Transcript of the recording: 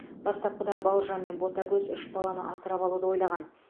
бастапқыда бауыржан мен ботагөз үш баланы асырап алуды ойлаған